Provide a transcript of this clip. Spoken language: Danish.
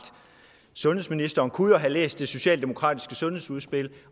sundhedsministeren kunne jo have læst det socialdemokratiske sundhedsudspil